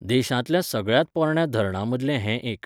देशांतल्या सगळ्यात पोरण्या धरणां मदले हें एक.